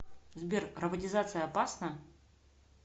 сбер роботизация опасна